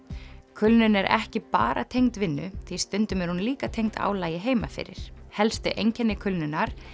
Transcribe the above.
kulnun er ekki bara tengd vinnu því stundum er hún líka tengd álagi heima fyrir helstu einkenni kulnunar